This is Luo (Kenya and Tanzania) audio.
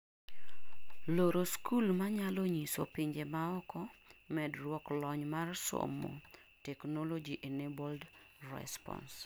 loro skul manyalo nyiso pinje maoko medruok lony mar somo Technology -emnabled response